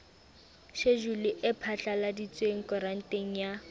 shejulu e phatlaladitsweng koranteng ya